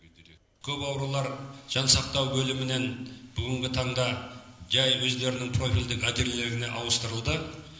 көп аурулар жансақтау бөлімінен бүгінгі таңда жай өздерінің профильдік отделениелеріне ауыстырылды